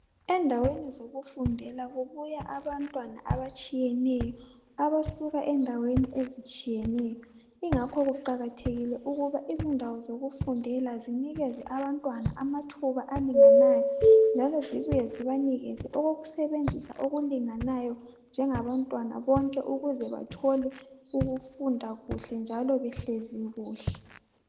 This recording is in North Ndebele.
Endaweni zokufundela kubuya abantwana abatshiyeneyo abasuka endaweni ezitshiyeneyo. Ingakho kuqakathekile ukuthi indawo zokufundela zinikeze abantwana amathuba njengabantwana bonke ukuze bathole ukufunda behlezi kuhle.